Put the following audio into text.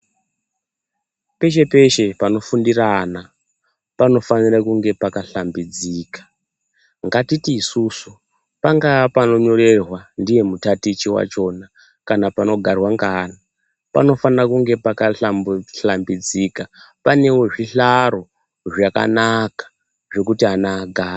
Peshe peshe panofundira ana panofanira kunge pakashambidzika nganditi isusu pangaa panonyorerwa ndiye mutatichi wachona kana panogarwa ngeana panofana kunge pakashambidzika pane zvihlaro zvakanaka zvekuti ana agare.